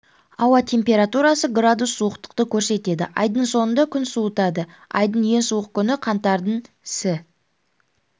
ауа температурасы градус суықтықты көрсетеді айдың соңында күн суытады айдың ең суық күні қаңтардың сі